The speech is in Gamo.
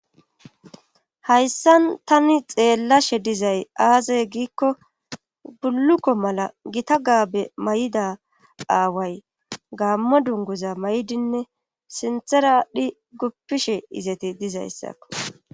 hayssan tani xeellashe dizay aaze giikko bulukko mala gita gaabe may7ida aaway gaammo dunguza may7idinne sinthera adhi guppishe izeti dizayssakko